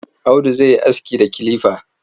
Audu zai yi aski da kilifa.